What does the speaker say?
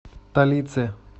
талице